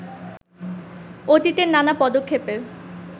অতীতের নানা পদক্ষেপের